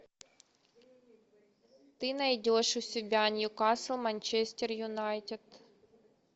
ты найдешь у себя ньюкасл манчестер юнайтед